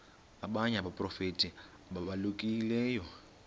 abanye abaprofeti ababalulekileyo